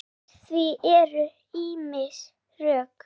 Fyrir því eru ýmis rök.